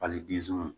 Hali